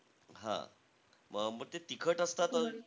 हां. म ते तिखट असतात ?